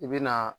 I bɛ na